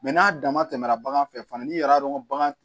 n'a dama tɛmɛna bagan fɛ fana n'i yɛrɛ y'a dɔn ko bagan